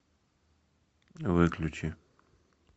выключи